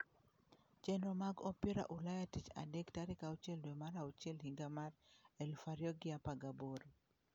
Chenro mag opira ulaya tich adek tarik auchiel dwe mar auchiel higa mar 2018.